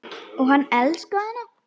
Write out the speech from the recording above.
Og hann elskaði hana.